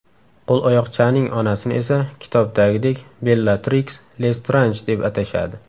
Qo‘loyoqchaning onasini esa kitobdagidek Bellatriks Lestranj deb atashadi.